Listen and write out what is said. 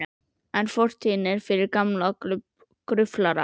En fortíðin er fyrir gamla gruflara.